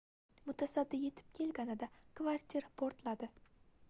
mutasaddi yetib kelganida kvartira portladi